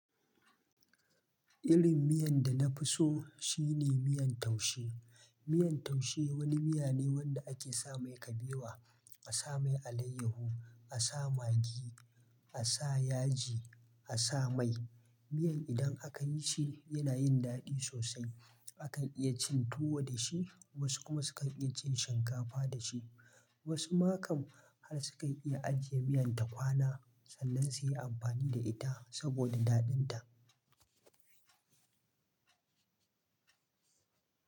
Irin miyan da na fi so shine miyan taushe. Miyar taushe wani miya ne wanda ake sa mai kabewa, a sa mai alayyahu, a sa magi, a sa yaji, a sa mai. Miyar idan aka yi shi yana yin daɗi sosai. Akan iya cin tuwo da shi, wasu kuma sukan iya cin shinkafa da shi. Wasu ma kam har sukan iya ajiye miyan ta kwana, sannan su yi amfani da ita saboda daɗin ta.